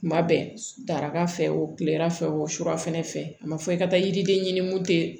Kuma bɛɛ daraka fɛ o kilela fɛ o surafana fɛ a ma fɔ i ka taa yiriden ɲini mun ten